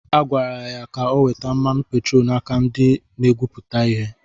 Agwara ya ka o weta mmanụ petroolu n’aka ndị na-egwupụta ihe.